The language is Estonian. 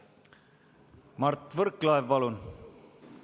Mart Võrklaev, palun!